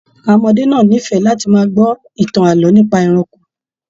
Àwọn ọmọdé náà n'ifẹ láti máa gbọ ìtàn ààlọ́ nípa ẹranko.